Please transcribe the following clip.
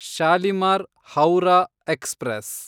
Shalimar (Howrah) express